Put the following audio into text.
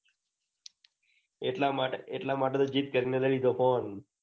એટલા માટે તો ઝિદ કરીને લઇ લીધો. ફોન